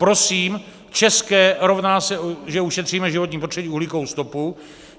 Prosím, české rovná se, že ušetříme životní prostředí, uhlíkovou stopu.